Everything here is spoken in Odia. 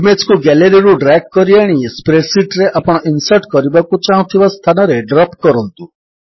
ଇମେଜ୍ କୁ Galleryରୁ ଡ୍ରାଗ୍ କରିଆଣି ସ୍ପ୍ରେଡ୍ ଶୀଟ୍ ରେ ଆପଣ ଇନ୍ସର୍ଟ କରିବାକୁ ଚାହୁଁଥିବା ସ୍ଥାନରେ ଡ୍ରପ୍ କରନ୍ତୁ